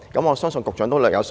我相信局長都略有所聞。